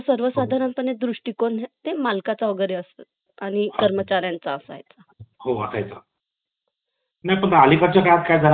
चंद्रशेखर यांच्या जन्माबद्दल सांगा